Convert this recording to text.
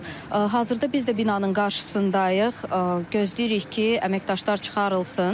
Hazırda biz də binanın qarşısındayıq, gözləyirik ki, əməkdaşlar çıxarılsın.